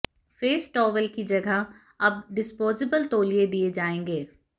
face towel की जगह अब डिस्पोजेबल तौलिए दिए जाएंगे